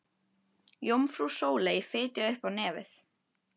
Jómfrú Sóley fitjaði upp á nefið.